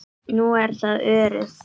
Nú er það Örið.